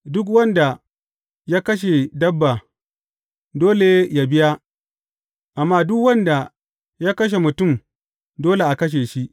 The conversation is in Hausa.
Duk wanda ya kashe dabba, dole yă biya, amma duk wanda ya kashe mutum, dole a kashe shi.